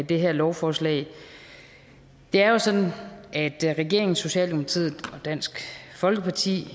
det her lovforslag det er jo sådan at regeringen socialdemokratiet og dansk folkeparti